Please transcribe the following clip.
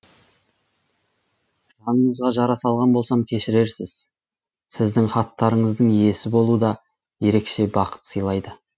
жаныңызға жара салған болсам кешірерсіз сіздің хаттарыңыздың иесі болу да ерекше бақыт сыйлайды